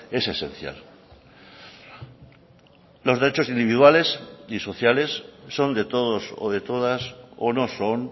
es esencial los derechos individuales y sociales son de todos o de todas o no son